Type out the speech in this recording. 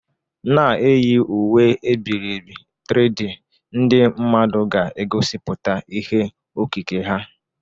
Na-eyi uwe e biri ebi 3D, ndị mmadụ ga-egosipụta ihe okike ha.